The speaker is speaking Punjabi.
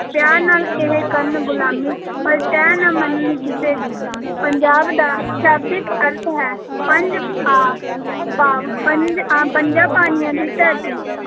ਪਿਆਰ ਨਾਲ ਇਹ ਕਰਨ ਗੁਲਾਮੀ ਪਰ ਟੈਂ ਨਾ ਮੰਨਣ ਕਿਸੇ ਦੀ, ਪੰਜਾਬ ਦਾ ਸ਼ਾਬਦਿਕ ਅਰਥ ਹੈ ਪੰਜ ਆ ਭਾਵ ਪੰਜ ਆਂ, ਪੰਜਾਂ ਪਾਣੀਆਂ ਦੀ ਧਰਤੀ।